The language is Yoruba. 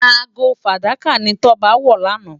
Aágó fádàká ni Toba wò làná